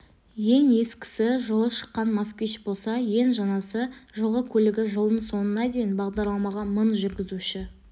ең ескісі жылы шыққан москвич болса ең жаңасы жылғы көлігі жылдың соңына дейін бағдарламаға мың жүргізуші